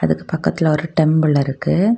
அதுக்கு பக்கத்துல ஒரு டெம்பிள் இருக்கு.